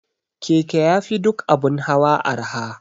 Keke yafi duk abun hawa arha